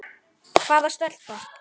Hvaða stelpa?